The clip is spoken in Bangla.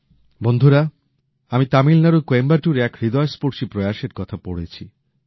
বন্ধুরা আমি তামিলনাড়ুর কোয়েম্বাটুরে এক হৃদয়স্পর্শী প্রয়াসের কথা পড়েছি